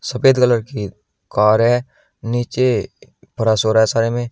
सफेद कलर की कार हैं नीचे फरस हो रहा है सारे में।